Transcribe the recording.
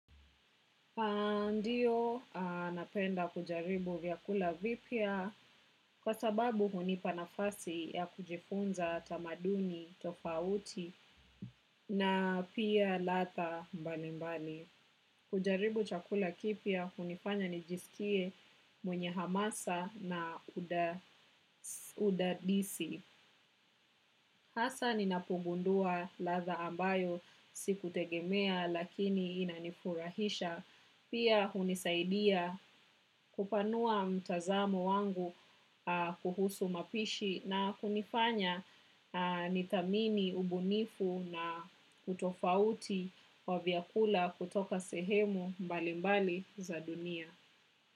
Ndiyo, napenda kujaribu vyakula vipia kwa sababu hunipa nafasi ya kujifunza tamaduni, tofauti na pia latha mbali mbali. Kujaribu chakula kipya hunifanya nijisikie mwenye hamasa na udadisi. Hasa ninapogundua latha ambayo siku tegemea lakini inanifurahisha pia hunisaidia kupanua mtazamo wangu kuhusu mapishi na kunifanya nithamini ubunifu na kutofauti wa vyakula kutoka sehemu mbalimbali za dunia.